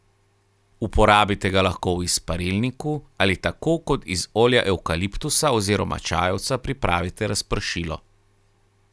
Uporabite ga lahko v izparilniku ali tako kot iz olja evkaliptusa oziroma čajevca pripravite razpršilo.